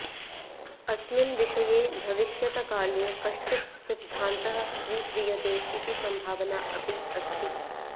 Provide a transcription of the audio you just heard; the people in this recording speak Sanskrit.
अस्मिन् विषये भविष्यतकाले कश्चित् सिद्धान्तः स्वीक्रियते इति सम्भावना अपि अस्ति